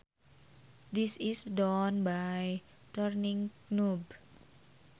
This is done by turning knob